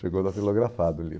Chegou datilografado o livro.